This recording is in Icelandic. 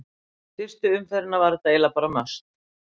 Eftir fyrstu umferðina var þetta eiginlega bara must.